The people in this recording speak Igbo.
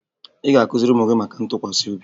Ị ga-akụziri ụmụ gị maka ntụkwasị obi